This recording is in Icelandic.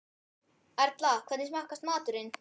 Erla, hvernig smakkast maturinn?